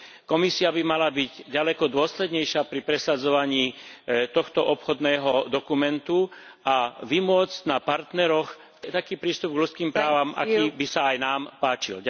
Komisia by mala byť ďaleko dôslednejšia pri presadzovaní tohto obchodného dokumentu a vymôcť na partneroch taký prístup k ľudským právam, aký by sa aj nám páčil.